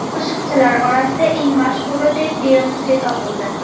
Qo‘shiqchilar orasida eng mashhuri deb Beyonse topildi.